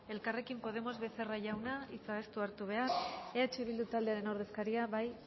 elkarrekin podemos becerra jauna hitza ez du hartu behar eh bildu taldearen ordezkaria bai